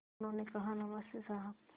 उन्होंने कहा नमस्ते साहब